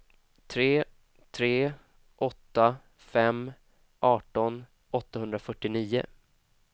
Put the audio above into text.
tre tre åtta fem arton åttahundrafyrtionio